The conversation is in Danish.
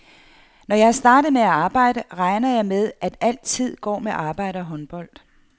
Når jeg er startet med at arbejde, regner jeg med at alt tid går med arbejde og håndbold.